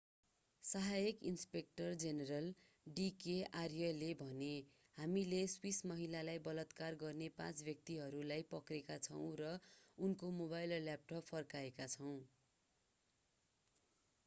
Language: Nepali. सहायक इन्सपेक्टर जेनेरल d k आर्याले भने हामीले स्विस महिलालाई बलात्कार गर्ने पाँच व्यक्तिहरूलाई पक्रेका छौँ र उनको मोबाइल र ल्यापटप फर्काएका छौँ